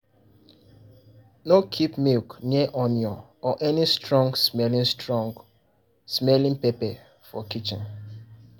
no keep milk near onion or any strong-smelling strong-smelling pepper for kitchen.